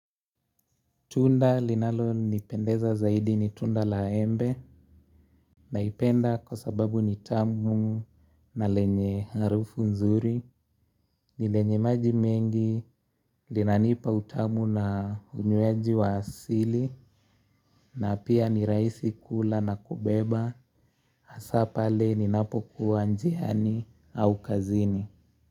Tunda linalo nipendeza zaidi ni tunda la embe, naipenda kwa sababu ni tamu na lenye harufu nzuri, ni lenye maji mengi, linanipa utamu na unywaji wa sili, na pia ni rahisi kula na kubeba, hasaa pale ni napokuwa njiani au kazini.